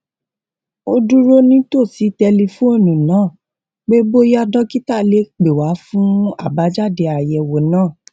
ó dúró nítòsí tẹlifóònù náà pé bóyá dókítà lè pè wá fún àbájáde àyèwò náà